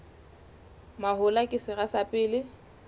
mahola ke sera sa pele